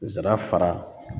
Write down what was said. Nsara fara